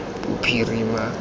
bophirima